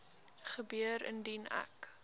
gebeur indien ek